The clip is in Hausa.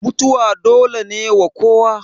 mutuwa dole ne ga kowa